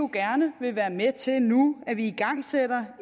gerne vil være med til nu at igangsætte